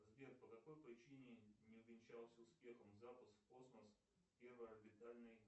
сбер по какой причине не увенчался успехом запуск в космос первой орбитальной